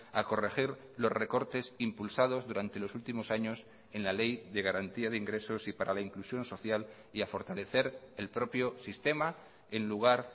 a corregir los recortes impulsados durante los últimos años en la ley de garantía de ingresos y para la inclusión social y a fortalecer el propio sistema en lugar